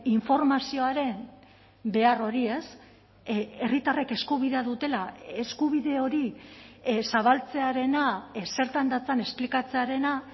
informazioaren behar hori ez herritarrek eskubidea dutela eskubide hori zabaltzearena zertan datzan esplikatzearena